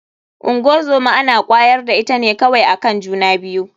Ngozoma ana kwayar da ita ne kawai akan juna biyu.